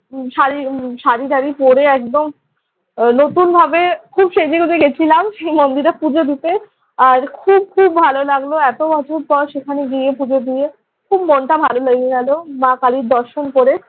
শাড়ি‘ শাড়িটারি পড়ে একদম নতুনভাবে খুব সেজেগুজে গেছিলাম মন্দিরে পুজো দিতে। আর খুব খুব ভালো লাগলো এত বছর পর সেখানে গিয়ে পুজো দিয়ে। খুব মনটা ভালো হয়ে গেল মা কালীর দর্শন করে।